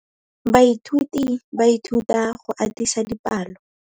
Baithuti ba ithuta go atisa dipalô.